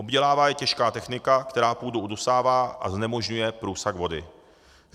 Obdělává je těžká technika, která půdu udusává a znemožňuje průsak vody.